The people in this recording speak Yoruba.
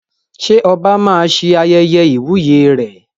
Ṣé oba máa ṣe ayẹyẹ ìwúyè rẹ̀?